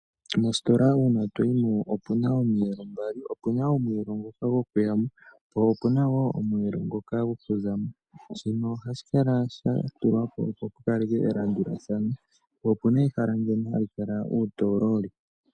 Mositola una toyimo opuna omiyelo mbali opuna omiyelo ngoka gokuyamo po opuna wo omwelo ngoka gokuzamo shino ohashikala shatulwapo opo shikaleke elanduladhano, po opuna ehala ndono halikala utololi.